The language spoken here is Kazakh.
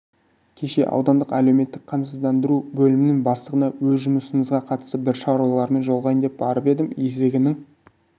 кеше аудандық әлеуметтік қамсыздандыру бөлімінің бастығына өз жұмысымызға қатысты бір шаруалармен жолығайын деп барып едім есігінің